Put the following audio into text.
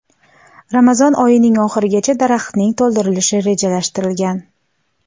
Ramazon oyining oxirigacha daraxtning to‘ldirilishi rejalashtirilgan.